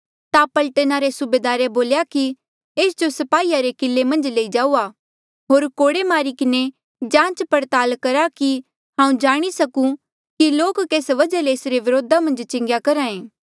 ता पलटना रे सूबेदारे बोल्या कि एस जो स्पाहीया रे किले मन्झ लई जाऊआ होर कोड़े मारी किन्हें जांच पड़ताल करहा कि हांऊँ जाणी सकूं कि लोक केस वजहा ले एसरे व्रोधा मन्झ चिलाया करहा ऐें